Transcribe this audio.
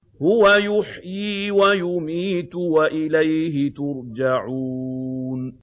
هُوَ يُحْيِي وَيُمِيتُ وَإِلَيْهِ تُرْجَعُونَ